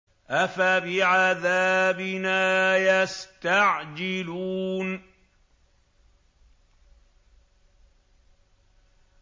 أَفَبِعَذَابِنَا يَسْتَعْجِلُونَ